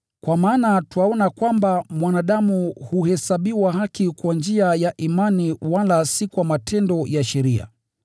Kwa maana twaona kwamba mwanadamu huhesabiwa haki kwa njia ya imani wala si kwa matendo ya sheria.